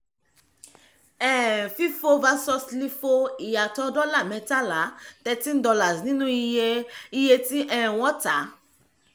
um fifo vs lifo: ìyàtọ̀ dọ́là mẹ́tàlá ($13) nínú iye iye tí um wọ́n tà